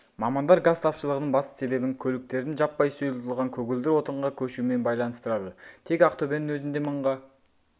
мамандар газ тапшылығының басты себебін көліктердің жаппай сұйылтылған көгілдір отынға көшуімен байланыстырады тек ақтөбенің өзінде мыңға